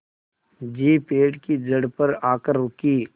jeep पेड़ की जड़ पर आकर रुकी